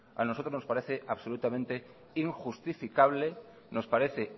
a nosotros nos parece absolutamente injustificable nos parece